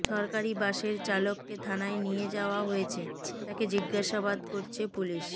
সরকারি বাসের চালককে থানায় নিয়ে যাওয়া হয়েছে তাকে জিজ্ঞাসাবাদ করছে পুলিশ